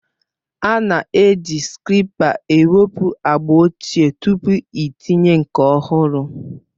A na-eji skreepa ewepụ agba ochie tupu itinye nke ọhụrụ